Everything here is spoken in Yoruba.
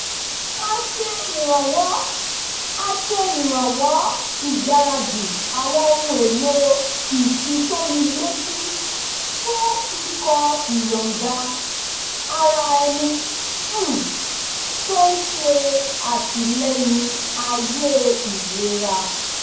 a ṣe ìrànwọ́ a ṣe ìrànwọ́ ìgbaradì àwọn ohun èlò ìfitónilétí fún ikọ̀ ìyọ̀ǹda-ara-ẹni um tó ń ṣe àtìlẹ́yìn ààyè ìlera